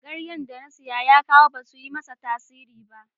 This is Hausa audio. Ganyen da Sani ya kawo ba su yi masa tasiri ba.